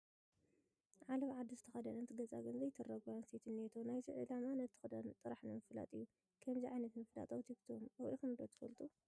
ዓለባ ዓዲ ዝተኸደነት ገፃ ግን ዘይትርአ ጓል ኣነስተይቲ እኔቶ፡፡ ናይዚ ዕላማ ነቲ ክዳን ጥራሕ ንምፍላጥ እዩ፡፡ ከምዚ ዓይነት ምፍላጥ ኣብ ቲክቶክ ርኢኹም ዶ ትፈልጡ?